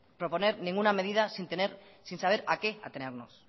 proponer ninguna medida sin saber a qué atenernos